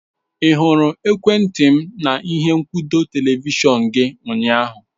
Ị hụrụ ekwentị m na ihe nkwụdo televishọn gị ụnyaahụ?